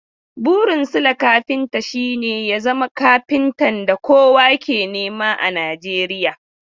Burin Sule kafinta shi ne ya zama kafintan da kowa ke nema a Nijeriya.